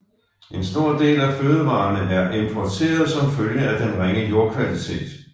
En stor del af fødevarerne er importeret som følge af den ringe jordkvalitet